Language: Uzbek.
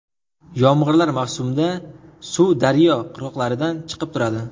Yomg‘irlar mavsumda suv daryo qirg‘oqlaridan chiqib turadi.